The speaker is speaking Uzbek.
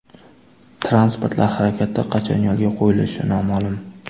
Transportlar harakati qachon yo‘lga qo‘yilishi noma’lum.